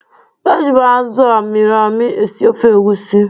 Eji m azụ a mịrị amị esi ofe egusi.